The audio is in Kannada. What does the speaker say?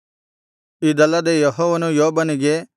ಇದಲ್ಲದೆ ಯೆಹೋವನು ಯೋಬನಿಗೆ